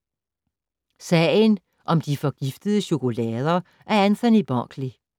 Sagen om de forgiftede chokolader af Anthony Berkeley